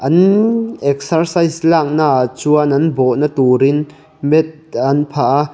ann exercise lâknaah chuan an bawhna tûrin mat an phah a.